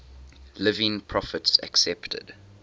living prophets accepted